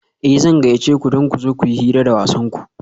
Eh zan gayyace ku da ku zo kuyi hira da wasanku